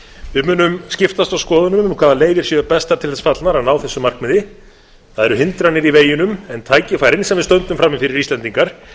við munum skiptast á skoðunum um hvaða leiðir séu bestar til þess fallnar að ná þessu markmiði það eru hindranir í veginum en tækifærin sem við stöndum frammi fyrir íslendingar